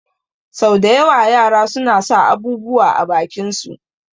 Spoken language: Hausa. Sau da yawa yara suna sa abubuwa a bakin su